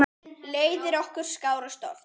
Leiðir okkar skárust oft.